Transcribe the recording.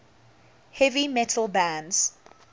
heavy metal bands